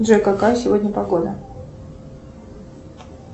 джой какая сегодня погода